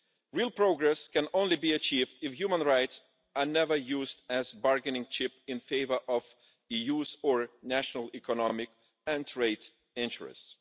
Real progress can only be achieved if human rights are never used as a bargaining chip in favour of EU or national economic and trade interests.